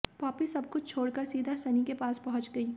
Poppy सबकुछ छोड़ कर सीधा सनी के पास पहुंच गईं